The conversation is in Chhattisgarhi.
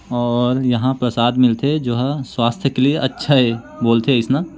और यहाँ प्रसाद मीलथे जो हा स्वास्थय के लिए अच्छा ऐ बोलथे अइसना--